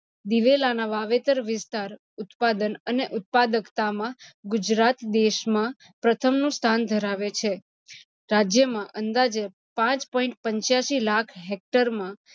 દિવેલાનાં વાવેતર વિસ્તાર, ઉત્પાદન અને ઉત્પાદકતામાં ગુજરાત દેશમાં પ્રથમ સ્થાન ધરાવે છે. રાજ્યમાં અંદાજે પાચ point પંચાસી લાખ hector માં